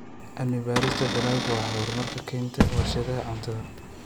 Cilmi-baarista dalaggu waxay horumar ka keentaa warshadaha cuntada.